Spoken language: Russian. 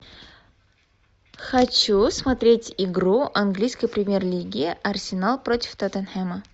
хочу смотреть игру английской премьер лиги арсенал против тоттенхэма